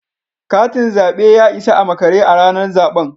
Katin zabe ya isa a makare a ranar zaben